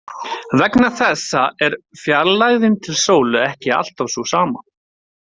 Vegna þessa er fjarlægðin til sólu ekki alltaf sú sama.